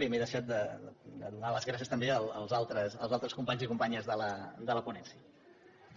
bé m’he deixat de donar les gràcies també als altres companys i companyes de la ponència